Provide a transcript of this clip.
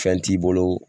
Fɛn t'i bolo